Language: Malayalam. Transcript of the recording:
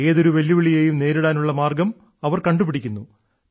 ഏതൊരു വെല്ലുവിളിയെയും നേരിടാനുള്ള മാർഗ്ഗം അവർ കണ്ടുപിടിക്കുന്നു